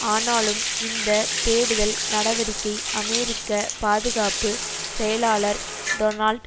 ஆனாலும் இந்த தேடுதல் நடவடிக்கை அமெரிக்க பாதுகாப்பு செயலாளர் டொனால்ட்